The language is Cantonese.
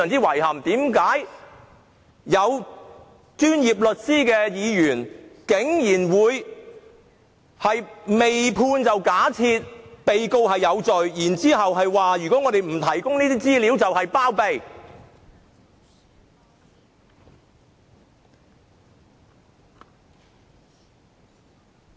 為何擁有專業律師資格的議員，竟然會未判先假定被告有罪，更指不提供資料便等同包庇？